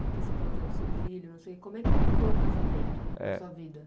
Porque você falou já do seu filho, assim como é que pintou o casamento eh na sua vida?